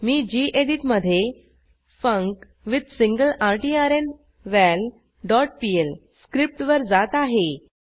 मी गेडीत मधे फंक्विथसिंगलरट्र्नवल डॉट पीएल स्क्रिप्टवर जात आहे